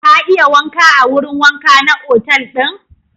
Ka iya wanka a wurin wanka na otal ɗin?